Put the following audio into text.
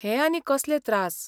हे आनी कसले त्रास.